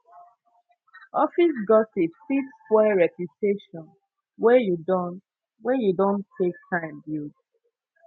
office gossip fit spoil reputation wey you don wey you don take time build